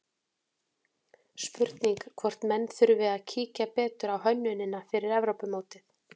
Spurning hvort menn þurfi að kíkja betur á hönnunina fyrir Evrópumótið?